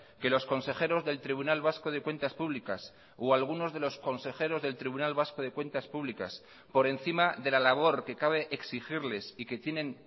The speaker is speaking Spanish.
que los consejeros del tribunal vasco de cuentas públicas o algunos de los consejeros del tribunal vasco de cuentas públicas por encima de la labor que cabe exigirles y que tienen